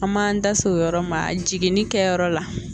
An m'an da se o yɔrɔ ma jiginni kɛyɔrɔ la.